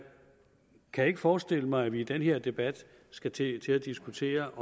kan ikke forestille mig at vi i den her debat skal til til at diskutere